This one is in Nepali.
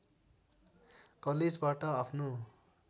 कलेजबाट आफ्नो